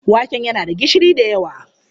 Waken yana da gishiri da yawa.